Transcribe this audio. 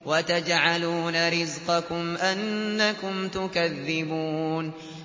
وَتَجْعَلُونَ رِزْقَكُمْ أَنَّكُمْ تُكَذِّبُونَ